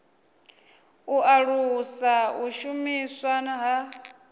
u alusa u shumiswa ha